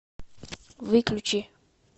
выключи